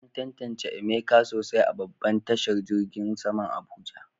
An tantance Emeka sosai a babban tashar jirgin saman Abuja.